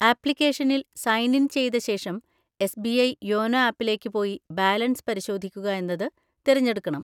ആപ്ലിക്കേഷനിൽ sign in ചെയ്ത ശേഷം, എസ്ബിഐ യോനോ ആപ്പിലേക്ക് പോയി ബാലൻസ് പരിശോധിക്കുക എന്നത് തിരഞ്ഞെടുക്കണം.